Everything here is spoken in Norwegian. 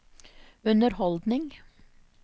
underholdning